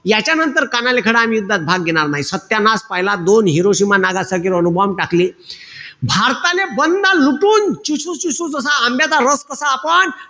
यांच्यानंतर कानाले खडा आणि युद्धात भाग घेणार नाई. सत्यानाश पहिला. दोन हिरोशिमा-नागासाकी वर अणुबॉम्ब टाकले. भारतातले बंधा लुटून, चुसू-चुसू जसा आंब्याचा रस कसा आपण,